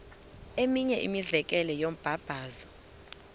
eminye imizekelo yombabazo